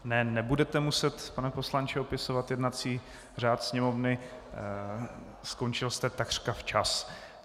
Ne, nebudete muset, pane poslanče, opisovat jednací řád Sněmovny, skončil jste takřka včas.